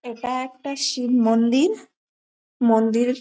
এটা একটা শিব মন্দির মন্দির--